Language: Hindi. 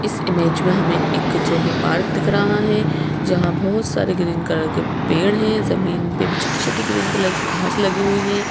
इस इमेज में हमें एक जो है पार्क दिख रहा है जहां बहुत सारे ग्रीन कलर के पेड़ हैं जमीन पे भी छोटी-छोटी ग्रीन कलर की घास लगी हुई है।